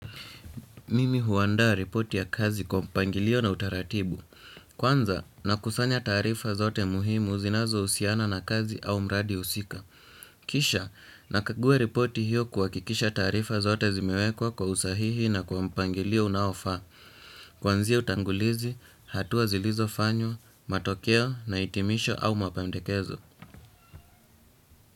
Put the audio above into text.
Mimi huandaa ripoti ya kazi kwa mpangilio na utaratibu. Kwanza, nakusanya taarifa zote muhimu zinazohusiana na kazi au mradi husika. Kisha, nakagua ripoti hiyo kuhakikisha taarifa zote zimewekwa kwa usahihi na kwa mpangilio unaofaa. Kuanzia utangulizi, hatua zilizofanywa, matokea na hitimisho au mapendekezo.